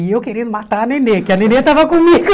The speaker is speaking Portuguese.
E eu querendo matar a Nenê, que a Nenê estava comigo.